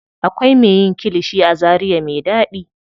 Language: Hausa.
Akwai me yin kilishi a zaria me ɗaɗi.